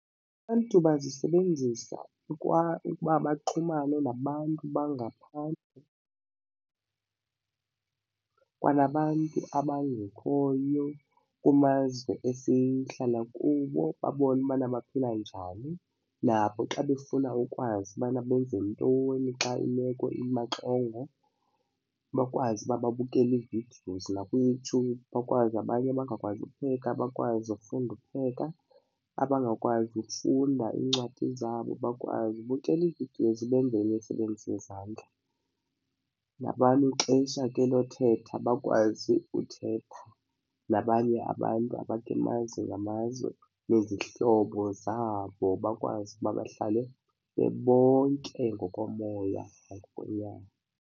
Abantu bazisebenzisa ukuba baxhumane nabantu bangaphandle kwanabantu abangekhoyo kumazwe esihlala kuwo babone ubana baphila njani, nabo xa befuna ukwazi ubana benze ntoni xa imeko imaxongo bakwazi uba babukele ii-videos. NakuYouTube bakwazi abanye abangakwazi upheka bakwazi ufunda upheka, abangakwazi ukufunda iincwadi zabo bakwazi ubukela ii-videos benze imisebenzi yezandla. Nabantu ixesha ke lothetha bakwazi uthetha, nabanye abantu abakumazwe ngamazwe nezihlobo zabo bakwazi ukuba bahlale bebonke ngokomoya ngokwenyama.